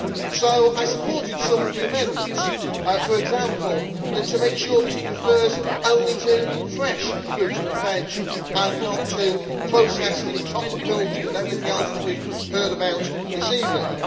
So I supported some of the amendments, for example to make sure that it refers only to fresh fruit and vegetables and not to processed and chocolate milk and everything else that we have heard about this evening.